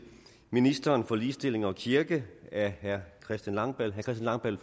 ministeren for ligestilling og kirke af herre christian langballe langballe